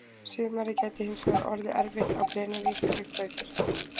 Sumarið gæti hins vegar orðið erfitt á Grenivík líkt og í fyrra.